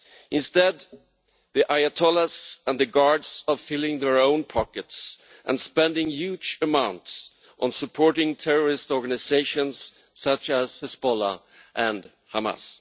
Instead, the ayatollahs and the guards are filling their own pockets and spending huge amounts on supporting terrorist organisations such as Hezbollah and Hamas.